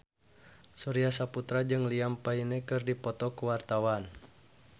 Surya Saputra jeung Liam Payne keur dipoto ku wartawan